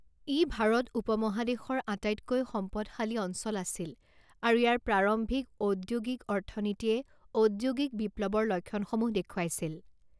ই ভাৰত উপমহাদেশৰ আটাইতকৈ সম্পদশালী অঞ্চল আছিল আৰু ইয়াৰ প্ৰাৰম্ভিক ঔদ্যোগিক অৰ্থনীতিয়ে ঔদ্যোগিক বিপ্লৱৰ লক্ষণসমূহ দেখুৱাইছিল।